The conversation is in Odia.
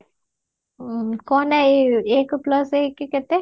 କହନା ଏଇ ଏକେ plus ଏକେ କେତେ